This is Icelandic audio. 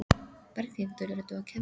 Berghildur: Ertu að kenna?